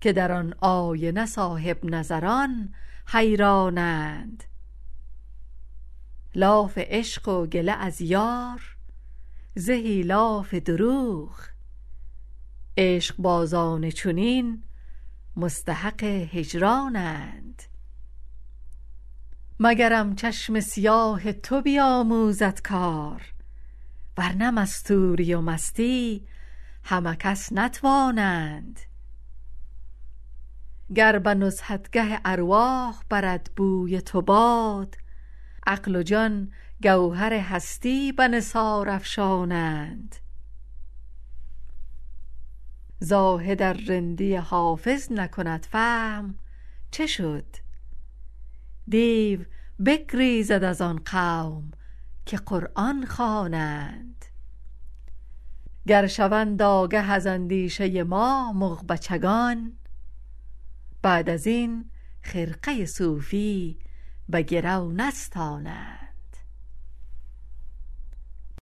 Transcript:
که در آن آینه صاحب نظران حیران اند لاف عشق و گله از یار زهی لاف دروغ عشق بازان چنین مستحق هجران اند مگرم چشم سیاه تو بیاموزد کار ورنه مستوری و مستی همه کس نتوانند گر به نزهتگه ارواح برد بوی تو باد عقل و جان گوهر هستی به نثار افشانند زاهد ار رندی حافظ نکند فهم چه شد دیو بگریزد از آن قوم که قرآن خوانند گر شوند آگه از اندیشه ما مغ بچگان بعد از این خرقه صوفی به گرو نستانند